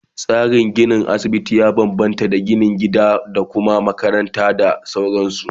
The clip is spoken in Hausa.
Tsarin ginin asibiti ya bambamta da na gida da Kuma makaranta da sauransu